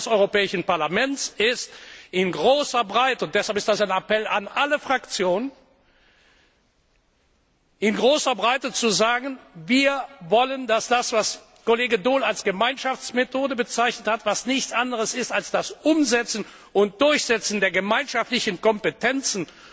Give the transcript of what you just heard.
Die Aufgabe des Europäischen Parlaments ist, in großer Breite und deshalb ist das ein Appell an alle Fraktionen in großer Breite zu sagen Wir wollen, dass das, was Kollege Daul als Gemeinschaftsmethode bezeichnet hat, was nichts anderes ist als das Umsetzen und Durchsetzen der gemeinschaftlichen Kompetenzen